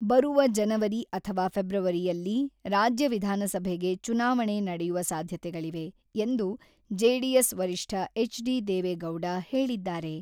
ಬರುವ ಜನವರಿ ಅಥವಾ ಫೆಬ್ರವರಿಯಲ್ಲಿ ರಾಜ್ಯ ವಿಧಾನಸಭೆಗೆ ಚುನಾವಣೆ ನಡೆಯುವ ಸಾಧ್ಯತೆಗಳಿವೆ ಎಂದು ಜೆಡಿಎಸ್ ವರಿಷ್ಠ ಎಚ್.ಡಿ.ದೇವೆಗೌಡ ಹೇಳಿದ್ದಾರೆ.